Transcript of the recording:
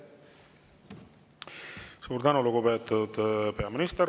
Suur tänu, lugupeetud peaminister!